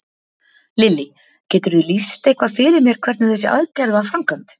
Lillý: Geturðu lýst eitthvað fyrir mér hvernig þessi aðgerð var framkvæmd?